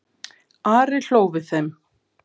Ari hló við þeim.